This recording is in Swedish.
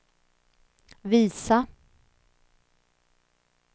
visa